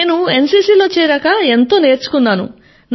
నేను NCCలో చేరాకా ఎంతో నేర్చుకున్నాను